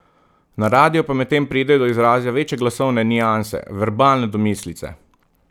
Na radiu pa medtem pridejo do izraza večje glasovne nianse, verbalne domislice ...